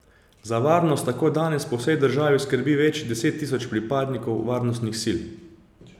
Za varnost tako danes po vsej državi skrbi več deset tisoč pripadnikov varnostnih sil.